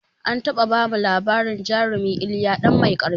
An taɓa bamu labarin jarumi iliya ɗan mai ƙarfi